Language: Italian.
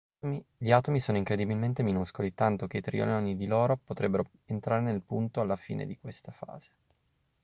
gli atomi sono incredibilmente minuscoli tanto che trilioni di loro potrebbero entrare nel punto alla fine di questa frase